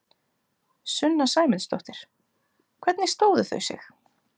Sunna Sæmundsdóttir: Hvernig stóðu þau sig?